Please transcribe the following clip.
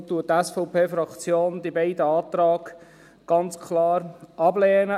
Deshalb lehnt die SVP-Fraktion die beiden Anträge ganz klar ab.